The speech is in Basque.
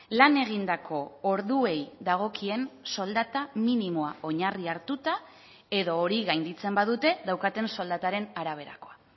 lan egindako orduei dagokien soldata minimoa oinarri hartuta edo hori gainditzen badute daukaten soldataren araberakoa